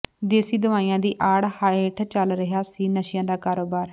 ਦੇਸੀ ਦਵਾਈਆਂ ਦੀ ਆੜ ਹੇਠ ਚੱਲ ਰਿਹਾ ਸੀ ਨਸ਼ਿਆ ਦਾ ਕਾਰੋਬਾਰ